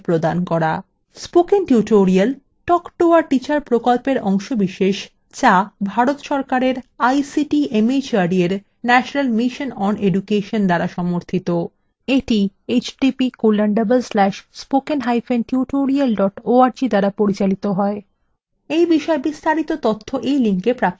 spoken tutorial talk to a teacher প্রকল্পের অংশবিশেষ যা ভারত সরকারের ict mhrd এর national mission on education দ্বারা সমর্থিত এই প্রকল্প